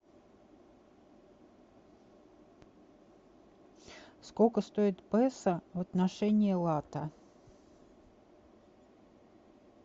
сколько стоит песо в отношении лата